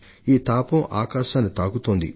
ఉష్ణ తీవ్రత పెచ్చవుతూనే ఉంటోంది